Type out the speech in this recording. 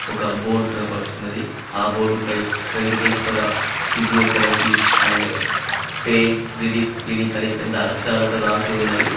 ఒక బోర్డ్ కనపడుచున్నది ఆ బోర్డు పై Venkateswara physiotherapy and pain relief clinic అని పెద్ద అక్షరాలతో రాసి ఉన్నది.